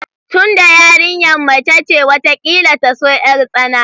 Tunda yarinyar mace ce, watakila ta so yartsana